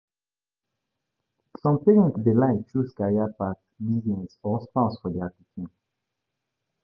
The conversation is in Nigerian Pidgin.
parents de like choose, business or pauses for their pikin